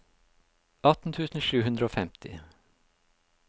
atten tusen sju hundre og femti